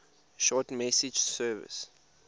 short message service